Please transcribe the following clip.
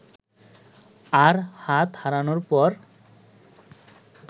আর হাত হারানোর পর